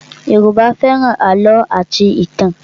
Yoruba fẹ́ràn àlọ́ àti ìtàn